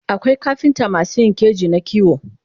akwai kafintamasu Yin keji na kiwo